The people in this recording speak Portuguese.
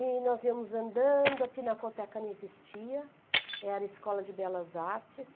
E nós íamos andando, a Pinacoteca não existia, era escola de belas artes.